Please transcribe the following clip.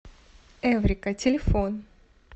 эврика телефон